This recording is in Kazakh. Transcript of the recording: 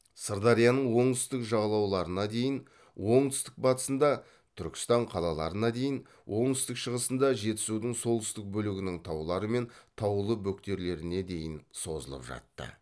сырдарияның оңтүстік жағалауларына дейін оңтүстік батысында түркістан қалаларына дейін оңтүстік шығысында жетісудың солтүстік бөлігінің таулары мен таулы бөктерлеріне дейін созылып жатты